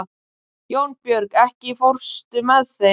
Jónbjörg, ekki fórstu með þeim?